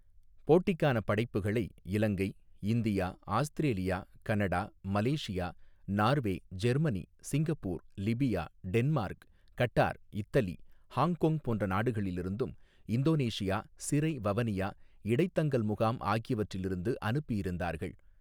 போட்டிக்கான படைப்புகளை Ilangai India Australia Canada Malaysia Norway Germany Singapore Libya Denmark Qatar Italy Hong Kong போன்ற நாடுகளிலிருந்தும் இந்தோனேசியா சிறை வவனியா இடைத்தங்கல் முகாம் ஆகியவற்றில் இருந்து அனுப்பியிருந்தார்கள்.